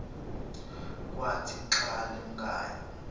kwathi xa limkayo